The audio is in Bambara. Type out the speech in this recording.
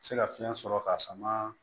Se ka fiɲɛ sɔrɔ ka sama